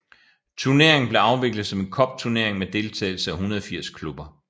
Turneringen blev afviklet som en cupturnering med deltagelse af 180 klubber